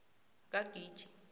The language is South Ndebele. kagiji